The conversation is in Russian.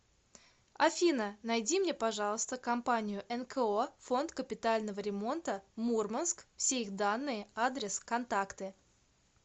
афина найди мне пожалуйста компанию нко фонд капитального ремонта мурманск все их данные адрес контакты